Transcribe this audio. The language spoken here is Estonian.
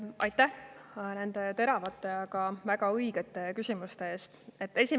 Aitäh nende teravate, aga väga õigete küsimuste eest!